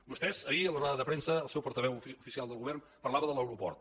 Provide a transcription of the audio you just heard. vostès ahir en la roda de premsa el seu portaveu oficial del govern parlava de l’aeroport